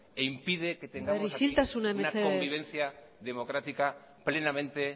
e impide que tengamos aquí una convivencia democrática plenamente